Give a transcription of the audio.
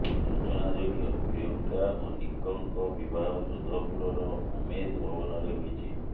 ସୂଚନାଯୋଗ୍ୟ ପ୍ରିୟଙ୍କା ଓ ନିକଙ୍କ ବିବାହ ଯୋଧପୁରର ଉମେଦ ଭବନରେ ହୋଇଛି